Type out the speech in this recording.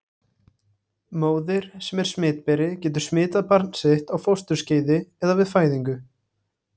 Móðir sem er smitberi getur smitað barn sitt á fósturskeiði eða við fæðingu.